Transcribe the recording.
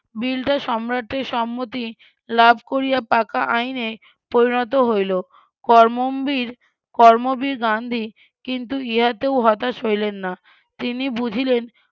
বিলটা সম্রাটের সম্মতি লাভ করিয়া পাকা আইনে পরিণত হইল কর্মবীর কর্মবীর গান্ধী কিন্তু ইহাতেও হতাশ হইলেন না তিনি বুঝিলেন